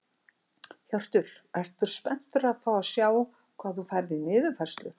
Hjörtur: Ertu spenntur að fá að sjá hvað þú færð í niðurfærslu?